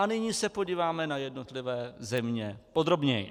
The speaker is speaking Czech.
A nyní se podíváme na jednotlivé země podrobněji.